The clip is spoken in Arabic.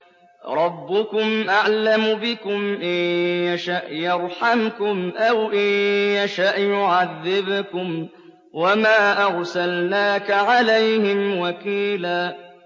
رَّبُّكُمْ أَعْلَمُ بِكُمْ ۖ إِن يَشَأْ يَرْحَمْكُمْ أَوْ إِن يَشَأْ يُعَذِّبْكُمْ ۚ وَمَا أَرْسَلْنَاكَ عَلَيْهِمْ وَكِيلًا